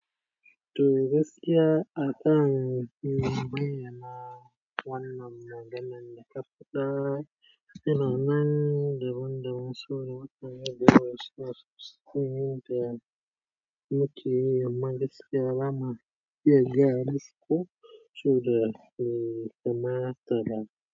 To gaskiya, akan fi bayyana wannan maganan daka fada. Ina nan da wanda masu da wakili da wasu suyi da mukeyi. Amma gaskiya ba ma iya gaya musu ku, soboda bai kamata ba.